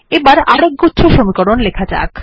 এবার আরেকগুচ্ছ সমীকরণ লেখা যাক